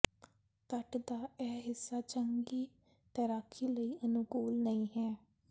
ਤੱਟ ਦਾ ਇਹ ਹਿੱਸਾ ਚੰਗੀ ਤੈਰਾਕੀ ਲਈ ਅਨੁਕੂਲ ਨਹੀ ਹੈ